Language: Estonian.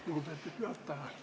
Lugupeetud juhataja!